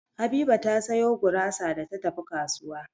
Habiba ta sayo gurasa da ta tafi kasuwa.